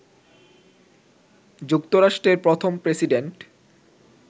যুক্তরাষ্ট্রের প্রথম প্রেসিডেন্ট